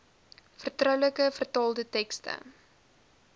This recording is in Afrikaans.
vertroulike vertaalde tekste